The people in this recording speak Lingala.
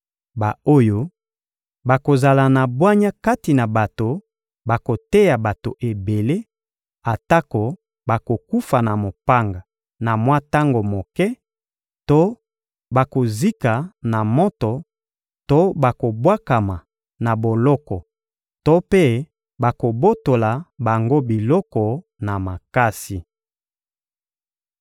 Ba-oyo bakozala na bwanya kati na bato bakoteya bato ebele, atako bakokufa na mopanga na mwa tango moke to bakozika na moto to bakobwakama na boloko to mpe bakobotola bango biloko na makasi.